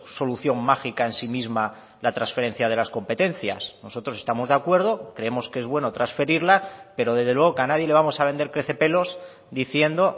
solución mágica en sí misma la transferencia de las competencias nosotros estamos de acuerdo creemos que es bueno transferirla pero desde luego que a nadie le vamos a vender crecepelos diciendo